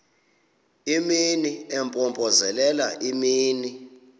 imini impompozelela imini